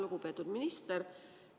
Lugupeetud minister!